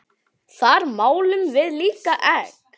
Þar málum við líka egg.